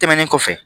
Tɛmɛnen kɔfɛ